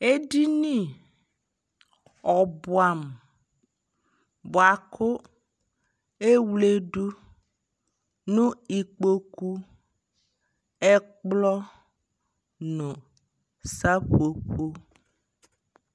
Ɛdini ɔbua mu buaku ewledu nu ikpoku, ɛkplɔ nu sapopo